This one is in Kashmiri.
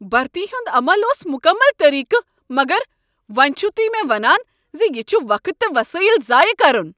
برتی ہنٛد عمل اوس مکمل طریقہ مگر وۄنۍ چھو تہۍ مےٚ ونان ز یہ چھ وقت تہٕ وسایل ضایع کرن۔